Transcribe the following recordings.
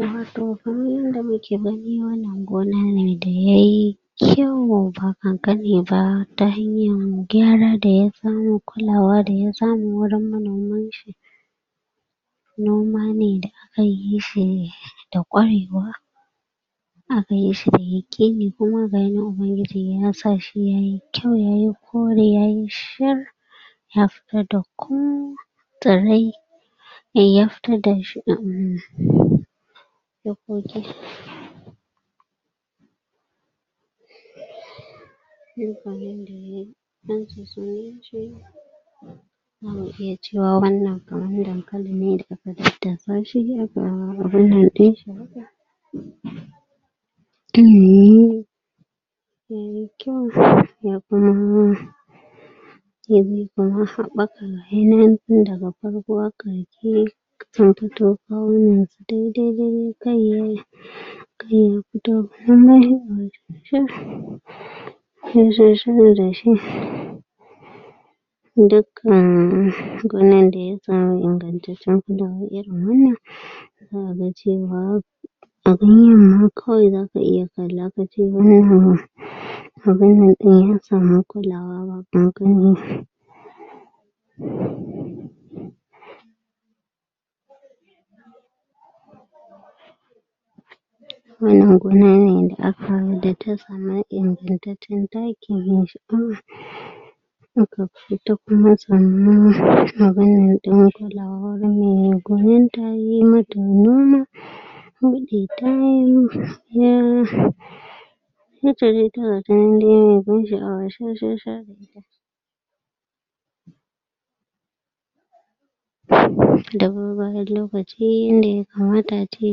Wato kaman yanda mu ke gani wannan gona ne da ya yi kyau ba kankani ba ta hanyar gyara da ya samu kullawa da ya samu wurin manomin shi noma ne da aka yi shi, da ƙwarewa a ka yi shi ya yeƙe ne kuma ga yi nan ubangiji ya sa shi ya yi kyau, ya yi kori, ya yi shir ya fitar da ko eh ya fito da shi a wurin nan za mu iya cewa wannan amfanin dankali ne da a ka dadasa shi a ka abunnan din shi ya yi kyau, ya kuma sai na yanka da ga farko a ka je kai ya fito gonar da ya kan ingancacce irin wannan zaa a ga cewa a gurin kawai za ka iya kalla, ka ce ya samu kullawa ba kakanin wannan gona da aka, da ta sama ingantacce takki mai shaawa aka fito kuma tsannan maganan din wurin mai gonan ta, ya yi mata noma ya ya ce da ta mai ban shaawa shashasha da bar bayar lokaci, inda ya kamata ace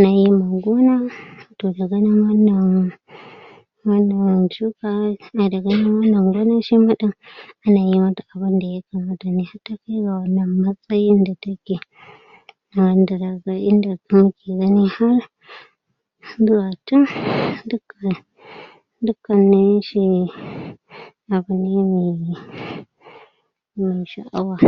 na yinin gona, toh da ganin wannan wannan shuka, na da ganin wannan gonan a na yi mata abun da ya kamata ne, har ta kai ga wannan matsayi da ta ke abunda za ka ga inda gani har har da, tun, duk da dukka na ishe ne abu ne mai ban shaawa